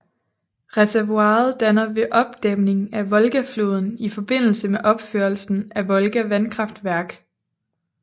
Reservoiret dannet ved opdæming af Volgafloden i forbindelse med opførelsen af Volga vandkraftværk